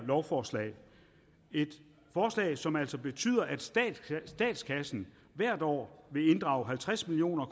lovforslag et forslag som altså betyder at statskassen hvert år vil inddrage halvtreds million